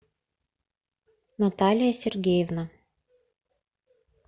наталия сергеевна